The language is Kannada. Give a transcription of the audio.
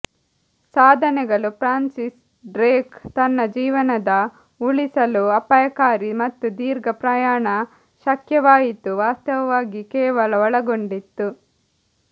ಸಾಧನೆಗಳು ಫ್ರಾನ್ಸಿಸ್ ಡ್ರೇಕ್ ತನ್ನ ಜೀವನದ ಉಳಿಸಲು ಅಪಾಯಕಾರಿ ಮತ್ತು ದೀರ್ಘ ಪ್ರಯಾಣ ಶಕ್ಯವಾಯಿತು ವಾಸ್ತವವಾಗಿ ಕೇವಲ ಒಳಗೊಂಡಿತ್ತು